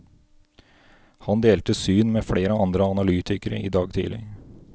Han delte syn med flere andre analytikere i dag tidlig.